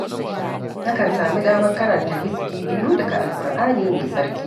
Nakan sami damar karanta hizfi biyu daga Alƙur'ani mai tsarki